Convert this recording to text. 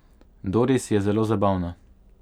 Doris je zelo zabavna.